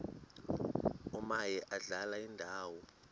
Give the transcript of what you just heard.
omaye adlale indawo